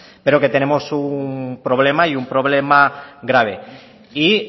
pero que tenemos un problema y un problema grave y